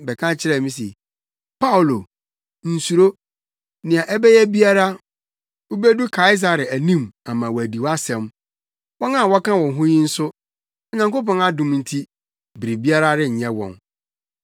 bɛka kyerɛɛ me se, ‘Paulo, nsuro! Nea ɛbɛyɛ biara wubedu Kaesare anim ama wɔadi wʼasɛm. Wɔn a wɔka wo ho yi nso, Onyankopɔn adom nti, biribiara renyɛ wɔn.’